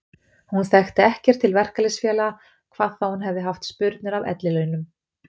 Hún þekkti ekkert til verkalýðsfélaga hvað þá að hún hefði haft spurnir af ellilaunum.